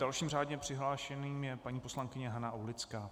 Dalším řádně přihlášeným je paní poslankyně Hana Aulická.